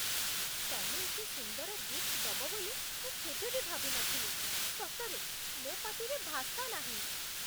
ତମେ ଏତେ ସୁନ୍ଦର ଗିଫ୍ଟ ଦବ ବୋଲି ମୁଁ କେବେ ବି ଭାବିନଥିଲି, ସତରେ ମୋ' ପାଟିରେ ଭାଷା ନାହିଁ ।